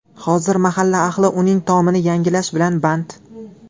Hozir mahalla ahli uning tomini yangilash bilan band.